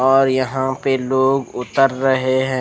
और यह पे लोग उतर रहे है।